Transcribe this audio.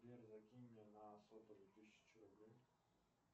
сбер закинь мне на сотовый тысячу рублей